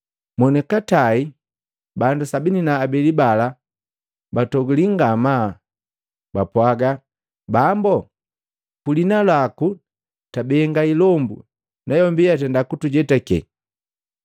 Mwoni katai bandu makomi saba na abeli bakelubuka bakatoguliya ngamaa, bakapwaga, “Bambo, kuliina laku twabenga ilombu nayombi nukutujetake.”